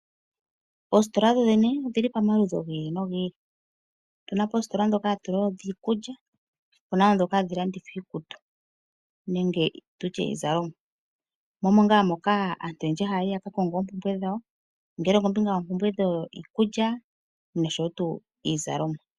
Oositola dho dhene odhili pomaludhi gi ili nogi ili . Otuna poositola ndhoka dhiikulya, opuna woo ndhoka hadhi landitha iikutu nenge tutye iizalomwa, mo omo ngaa moka aantu oyendji hayayi ya kakonge oompumbwe dhawo ngele okombinga yoompumbwe dhiikulya noshowo iizalomwa.